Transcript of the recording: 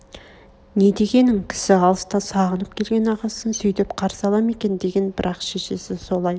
не дегенің кісі алыстан сағынып келген ағасын сүйдеп қарсы ала ма екен деген бірақ шешесі солай